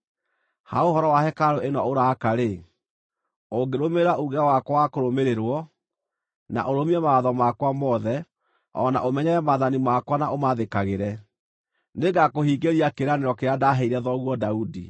“Ha ũhoro wa hekarũ ĩno ũraaka-rĩ, ũngĩrũmĩrĩra uuge wakwa wa kũrũmĩrĩrwo, na ũrũmie mawatho makwa mothe, o na ũmenyerere maathani makwa na ũmathĩkagĩre, nĩngakũhingĩria kĩĩranĩro kĩrĩa ndaaheire thoguo Daudi.